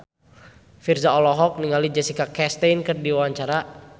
Virzha olohok ningali Jessica Chastain keur diwawancara